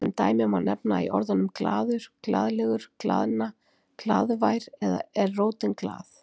Sem dæmi má nefna að í orðunum glaður, glaðlegur, glaðna, glaðvær er rótin glað-.